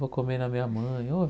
Vou comer na minha mãe. Ô